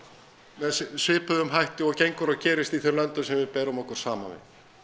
með svipuðum hætti og gengur og gerist í þeim löndum sem við berum okkur saman við